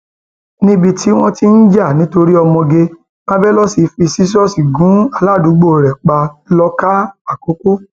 níbi tí wọn ti ń jà nítorí ọmọge marvelous fi ṣíṣọọṣì gun aládùúgbò rẹ pa lọkà àkọkọ